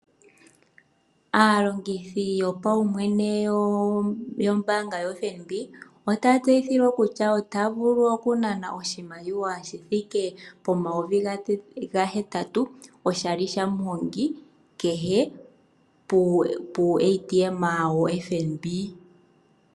Aalongithi yo paumwene yo mbaanga yotango yopashigwana, ota ya tseyililwa kutya ota ya vulu oku nana oshimaliwa shi vulithe pomayovi ga hetatu oshali shamuhongi puutayi uushona wombaanga yotango yo pashigwana.